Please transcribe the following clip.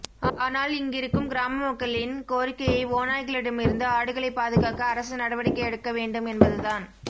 ஆனால் இங்கிருக்கும் கிராமமக்களின் கோரிக்கையே ஓநாய்களிடமிருந்து ஆடுகளை பாதுகாக்க அரசு நடவடிக்கை எடுக்க வேண்டும் என்பது தான்